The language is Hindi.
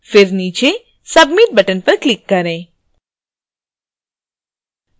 फिर नीचे submit button पर click करें